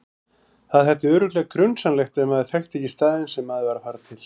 Það þætti örugglega grunsamlegt ef maður þekkti ekki staðinn sem maður var að fara til.